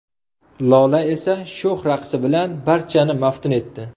Lola esa sho‘x raqsi bilan barchani maftun etdi.